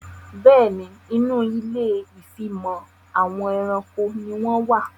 Bẹ́ẹ̀ni, Inú ilé ìfimọ̀ àwọn ẹranko ni wón wà